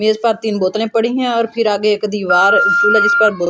मेज पर तीन बोतलें पड़ी हैं और फिर आगे एक दीवार जिस पर--